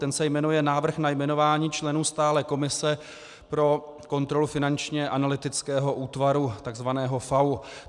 Ten se jmenuje Návrh na jmenování členů Stálé komise pro kontrolu finančního analytického útvaru", takzvaného FAÚ.